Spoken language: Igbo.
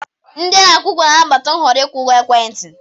Ndị ana-akwụ ụgwọ ga-anabata nhọrọ ịkwụ ụgwọ ekwentị.